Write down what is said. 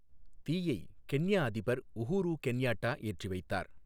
தீயை கென்யா அதிபர் Uhuru Kenyatta ஏற்றி வைத்தார்.